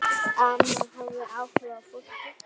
Amma hafði áhuga á fólki.